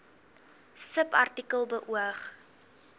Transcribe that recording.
subartikel beoog